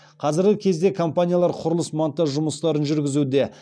қазіргі кезде компаниялар құрылыс монтаж жұмыстарын жүргізуде